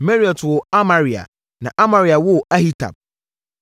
Meraiot woo Amaria, na Amaria woo Ahitub,